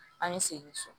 An ye segin so